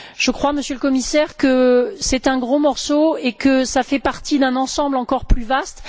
Je crois, Monsieur le Commissaire, que c'est un gros morceau et que cela fait partie d'un ensemble encore plus vaste.